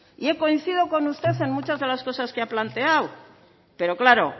coincido con usted en muchas de las cosas que ha planteado pero claro